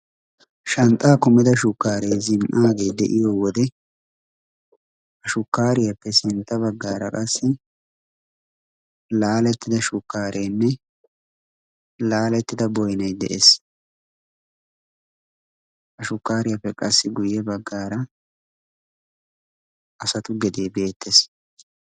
shanxxaa kummida shukkaaree zin''aagee de'iyo wode ashukkaariyaappe sintta baggaara qassi laalettida shukkaareenne laalettida boynay de'ees a shukkaariyaappe qassi guyye baggaara asatu gedee beettees